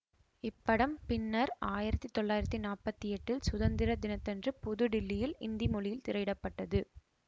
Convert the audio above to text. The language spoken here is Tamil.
இப்படம் பின்னர் ஆயிரத்தி தொள்ளாயிரத்தி நாப்பத்தி எட்டில் சுதந்திர தினத்தன்று புது டில்லியில் இந்தி மொழியில் திரையிட பட்டது